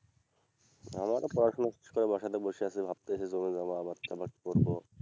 আমারও পড়াশোনা শেষ করে বাসাতে বসে আছি ভাবতেছি জমি জমা আবাদ সাবাদ করবো।